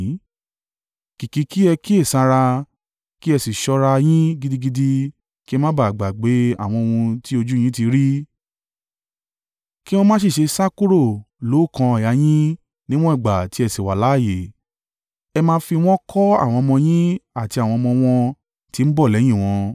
Kìkì i kí ẹ kíyèsára, kí ẹ sì ṣọ́ra a yín gidigidi kí ẹ má ba à gbàgbé àwọn ohun tí ojú yín ti rí, kí wọn má sì ṣe sá kúrò lóókan àyà yín níwọ̀n ìgbà tí ẹ sì wà láààyè. Ẹ máa fi wọ́n kọ́ àwọn ọmọ yín àti àwọn ọmọ wọn tí ń bọ̀ lẹ́yìn wọn.